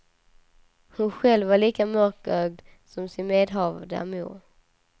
Hon själv var lika mörkögd som sin medhavda mor.